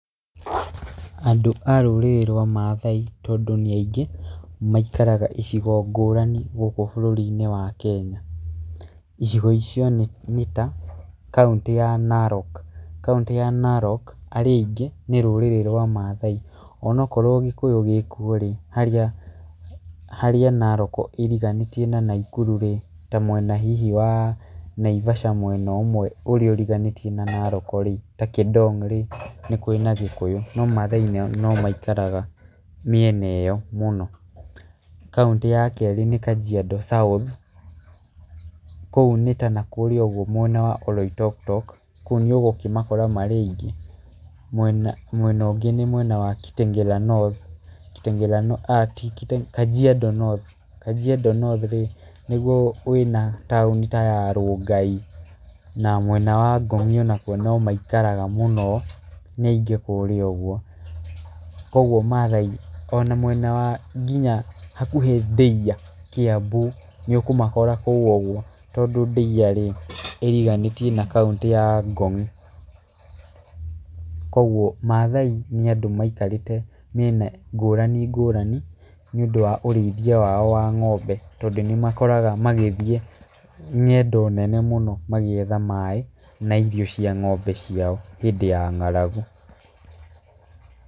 Andũ a rũrĩrĩ rwa Maathai tondũ nĩ aingĩ maikara icigo ngũrani gũkũ bũrũri-inĩ wa Kenya. Icigo icio nĩ ta, kaũntĩ ya Narok. Kaũntĩ ya Narok arĩa aingĩ nĩ rũrĩrĩ rwa Maathai. Onokorwo gĩkũyũ gĩkuo rĩ, harĩa Narok ĩriganĩtie na Nakuru rĩ ta mwena hihi wa Naivasha, mwena ũmwe ũrĩa ũriganĩtie na Narok rĩ, ta Kĩdong rĩ, nĩ kũrĩ a Gĩkũyũ no Maathai no maikaraga mĩena ĩyo mũno. Kaũntĩ ya kerĩ nĩ Kajiado South, kũu nĩ ta nakũrĩa ũguo mwena wa Oloitoktok, kũu nĩ ũgũkĩmakora marĩ aingĩ. Mwena ũngĩ nĩ mwena wa Kajiado North, Kajiado North rĩ nĩguo wĩna taũni ta ya Rongai naguo mwena wa Ngong onakuo no maikaraga mũno, nĩ aingĩ kũrĩa ũguo. Koguo maathai ona mwena wa nginya hakuhĩ Ndeia Kiambu, nĩ ũkũmakora kũu ũguo tondũ Ndeia rĩ, ĩriganĩtie na kaũntĩ ya Ngong. Koguo maathai nĩ andũ maikarĩte mĩena ngũrani ngũrani nĩ ũndũ wa ũrĩithia wao wa ng'ombe, tondũ nĩ makoraga magĩthiĩ ngendo nene mũno magĩetha maaĩ na irio cia ng'ombe ciao hĩndĩ ya ng'aragu.